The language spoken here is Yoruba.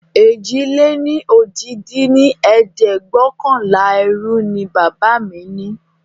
èjì-lé-ní-ojì dín ní ẹ̀ẹ́dẹ́gbẹ́ọ̀kànlá ẹrú ní bàbá mí ní